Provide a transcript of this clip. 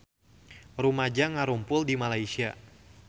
Rumaja ngarumpul di Malaysia